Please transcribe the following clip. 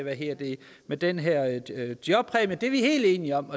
med den her jobpræmie det er vi helt enige om